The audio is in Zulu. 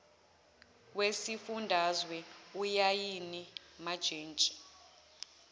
wesifundazwe ulayini wajantshi